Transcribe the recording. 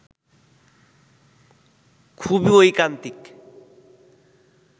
খুবই ঐকান্তিক